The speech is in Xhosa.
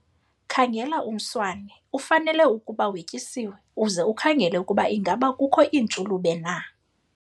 Khangela umswane, ufanele ukuba wetyisiwe, uze ukhangele ukuba ingaba kukho iintshulube na.